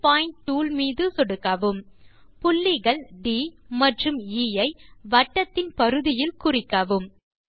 new point tool மீது சொடுக்கவும் புள்ளிகள் ட் மற்றும் எ ஐ வட்டத்தின் பரிதியில் குறிக்கவும்